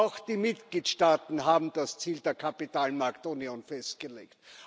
Auch die Mitgliedstaaten haben das Ziel der Kapitalmarktunion festgelegt.